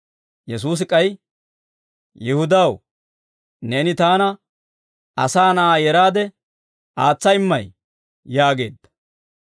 Yesuusi k'ay, «Yihudaw, neeni taana Asaa Na'aa yeraade aatsa immay?» yaageedda.